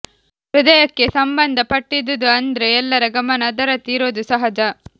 ಹೃದಯಕ್ಕೆ ಸಂಬಂಧ ಪಟ್ಟಿದುದು ಅಂದ್ರೆ ಎಲ್ಲರ ಗಮನ ಅದರತ್ತ ಇರೋದು ಸಹಜ